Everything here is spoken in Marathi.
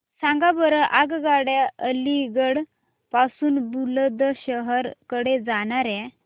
सांगा बरं आगगाड्या अलिगढ पासून बुलंदशहर कडे जाणाऱ्या